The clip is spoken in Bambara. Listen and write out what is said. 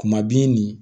Kuma bi nin